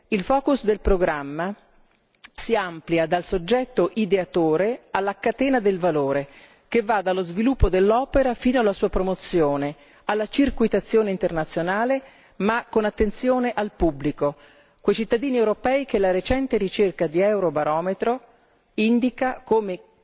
Il focus del programma si amplia dal soggetto ideatore alla catena del valore, che va dallo sviluppo dell'opera fino alla sua promozione, alla circuitazione internazionale, ma con attenzione al pubblico, quei cittadini europei che la recente ricerca di Eurobarometro indica come